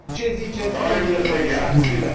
Ce ziceți, domnule comisar Füle?